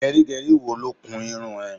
Gẹrígẹrí wo ló kun irun ẹ?